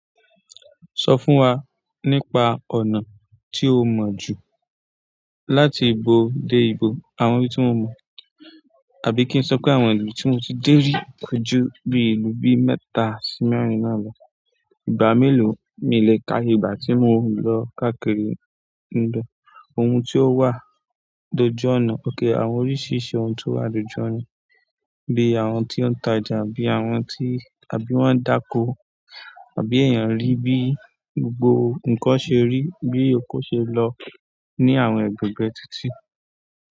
Sọ fún wa nípa ọ̀nà tí mọ jù láti ìbo dé ìbo. Àwọn ibi tí mo mọ̀, àbí kí n sọ pé àwọn ìlú tí mo ti dé rí kojú bí ìlú bí mẹ́ta sí mẹ́rin náà lọ. Ìgbà mélòó mi le ka iye ìgbà tí mo ń lọ káàkiri níbẹ̀. Ohun tí ó wà dojú ọ̀nà. Okay àwọn oríṣìíríṣìí ohun tí ó wà lójú ọ̀nà, bí i àwọn tí ó ń tajà àbí àwọn tí àbí wọ́n ń dáko àbí èèyàn rí bí gbogbo nǹkan ṣe rí, bí oko ṣe lọ ní àwọn ẹ̀ẹ̀gbẹ̀ẹ̀gbẹ́ títì.